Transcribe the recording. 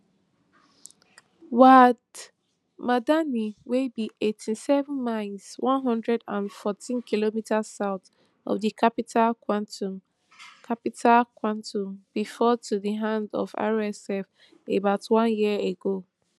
wad madani wey be eighty-seven miles one hundred and fortykm south of di capital khartoum capital khartoum bin fall to di hand of rsf about one year ago